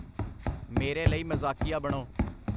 ਮੇਰੇ ਲਈ ਮਜ਼ਾਕੀਆ ਬਣੋ।